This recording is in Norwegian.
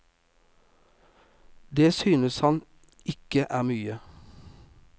Det synes han ikke er mye.